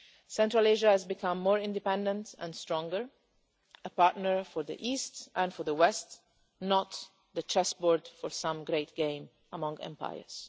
Central Asia has become more independent and stronger, a partner for the East and for the West, not the chessboard for some great game among empires.